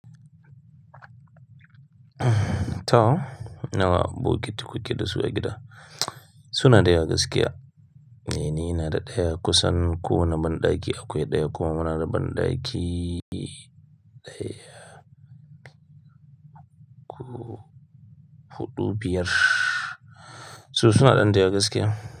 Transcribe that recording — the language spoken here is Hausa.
To nawa bokiti kuke dasu a gida? Su na da yawa gaskiya. Mene na da daya kusan ko wane banɗaki akwai daya kuma muna da banɗaki daya huɗu biyar. Su suna ɗan da yawa gaskiya.